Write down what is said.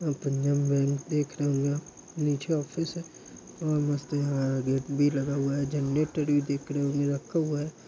Punjab bank देख रहे होंगे आप नीचे ऑफिस है और मस्त यहां गेट भी लगा हुआ है। जनरेटर भी देख रहे होंगे रखा हुआ है।